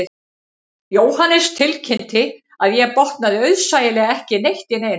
Jóhannes tilkynnti að ég botnaði auðsæilega ekki neitt í neinu